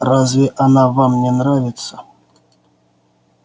разве она вам не нравится